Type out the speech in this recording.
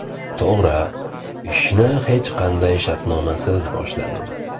To‘g‘ri, ishni hech qanday shartnomasiz boshladim.